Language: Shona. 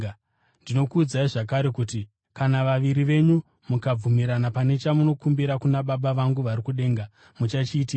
“Ndinokuudzai zvakare kuti kana vaviri venyu mukabvumirana pane chamunokumbira kuna Baba vangu vari kudenga, muchachiitirwa.